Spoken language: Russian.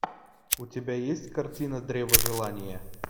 у тебя есть картина древо желания